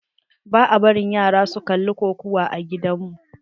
Ba a barin yara su kalla kokawa a gidan mu.